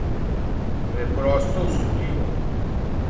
Preprosto osupljivo!